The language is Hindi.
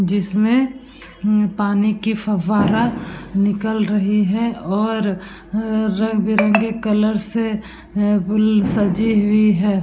जिसमे पानी की फवारा निकल रही है और अ रंग-बिरंगे कलर से सजे हुई है।